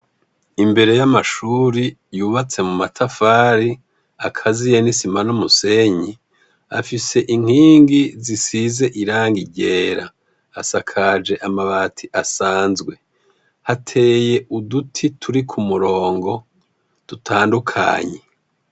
Imbere y’amashuri, yubatse mumatafari akaziye n’isima n’umusenyi ,afise inkingi zisize irangi ryera. Asakaje amabati asanzwe. Hateye uduti turi kumurongo dutandukanye.